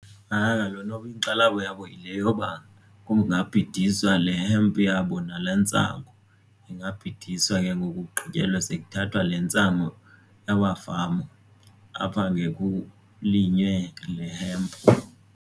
Hayi kaloku noba inkxalabo yabo yile yoba kungabhidiswa le-hemp yabo nale ntsang. Ingabhidiswa ke ngoku kugqityelwe sekuthathwa le ntsangu yamafama apha ngekulinywe le-hemp.